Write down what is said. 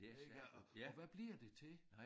Ikke og og hvad bliver det til?